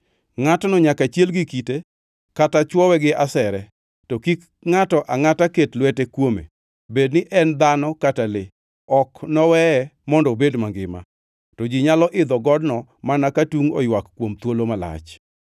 Ngʼatno nyaka chiel gi kite, kata chwowe gi asere; to kik ngʼato angʼata ket lwete kuome. Bed ni en dhano kata le, ok noweye mondo obed mangima.’ To ji nyalo idho godno mana ka tungʼ oywak kuom thuolo malach.”